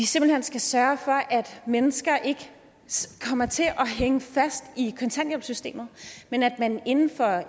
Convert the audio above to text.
simpelt hen skal sørge for at mennesker ikke kommer til at hænge fast i kontanthjælpssystemet men at man inden for